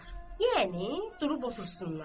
Yəni durub otursunlar.